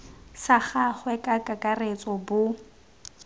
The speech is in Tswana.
sa gagwe ka kakaretso bo